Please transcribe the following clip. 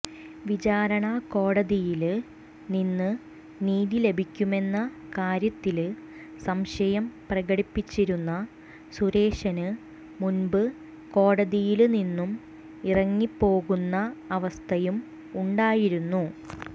വിചാരണകോടതിയില് നിന്ന് നീതി ലഭിക്കുമെന്ന കാര്യത്തില് സംശയം പ്രകടിപ്പിച്ചിരുന്ന സുരേശന് മുന്പ് കോടതിയില് നിന്നും ഇറങ്ങിപ്പോകുന്ന അവസ്ഥയും ഉണ്ടായിരുന്നു